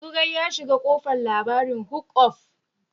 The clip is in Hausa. Zugwai ya shiga kofan labarin hook up.